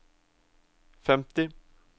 femti